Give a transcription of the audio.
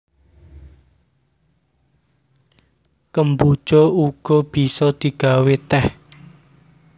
Kemboja uga bisa digawé tèh